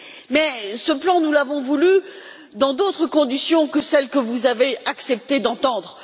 Mais, ce plan, nous l'avons voulu dans d'autres conditions que celles que vous avez accepté d'entendre.